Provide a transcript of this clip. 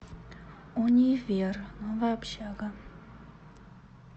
универ новая общага